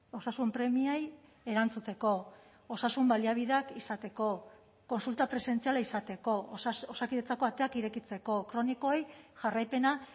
osasun premiei erantzuteko osasun baliabideak izateko kontsulta presentziala izateko osakidetzako ateak irekitzeko kronikoei jarraipena